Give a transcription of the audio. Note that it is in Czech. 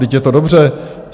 Vždyť je to dobře.